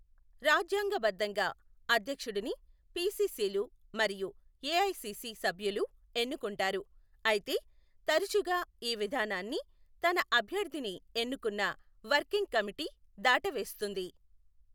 రాజ్యాంగబద్ధంగా, అధ్యక్షుడిని పిసిసిలు మరియు ఎఐసిసి సభ్యులు ఎన్నుకుంటారు, అయితే, తరచుగా ఈ విధానాన్ని తన అభ్యర్థిని ఎన్నుకున్న వర్కింగ్ కమిటీ దాటవేస్తుంది.